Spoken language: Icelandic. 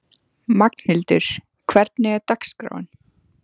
Magnhildur, hvernig er dagskráin?